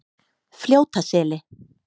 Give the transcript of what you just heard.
Fljótaseli